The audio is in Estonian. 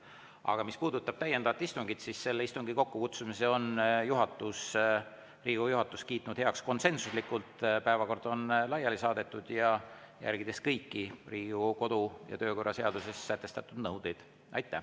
Aga mis puudutab täiendavat istungit, siis selle kokkukutsumise on Riigikogu juhatus heaks kiitnud konsensuslikult – päevakord on laiali saadetud – ja järgides kõiki Riigikogu kodu- ja töökorra seaduses sätestatud nõudeid.